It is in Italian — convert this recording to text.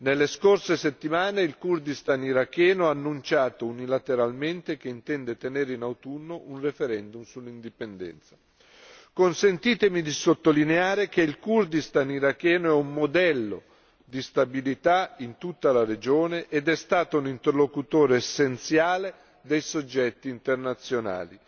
Nelle scorse settimane il Kurdistan iracheno ha annunciato unilateralmente che intende tenere in autunno un referendum sull'indipendenza. Consentitemi di sottolineare che il Kurdistan iracheno è un modello di stabilità in tutta la regione ed è stato un interlocutore essenziale dei soggetti internazionali,